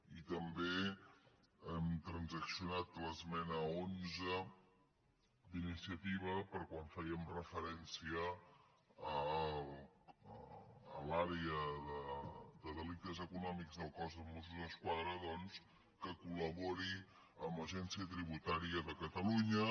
i també hem transaccionat l’esmena onze d’iniciativa per a quan fèiem referència a l’àrea de delictes econòmics del cos de mossos d’esquadra doncs que col·labori amb l’agència tributària de catalunya